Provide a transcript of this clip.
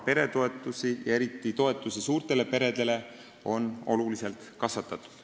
Peretoetusi, eriti toetusi suurtele peredele, on oluliselt kasvatatud.